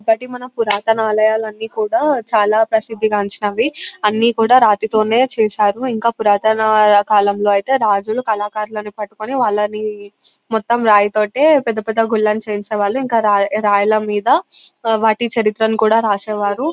ఇంకొకటి మన పురాతన ఆలయాలని కూడా చాల ప్రసిధికాంచినవి అని కూడా రాతి తోనే చేసారు ఇంకా పురాతన కాలంలో ఐతే రాజులూ కళాకారులను పట్టుకొని వాలని మొత్తం రాయి తోటే పెద్ద పెద్ద గులని చేయించేవారు ఇంకా రాయ్ రాయిలా మీద వాటి చరిత్రని కూడా రాసేవారు .